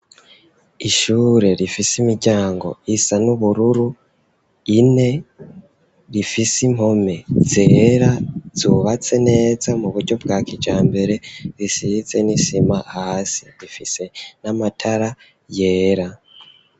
Ishure rifise imiryango isa n'ubururu ine, rifise impome zera zubatse neza mu buryo bwa kijambere, risize n'isima hasi. Rifise n'amatara yera.